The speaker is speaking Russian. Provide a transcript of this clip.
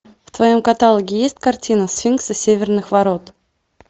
в твоем каталоге есть картина сфинксы северных ворот